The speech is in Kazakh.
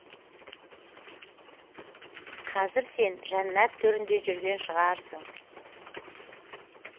қазір сен жәннат төрінде жүрген шығарсың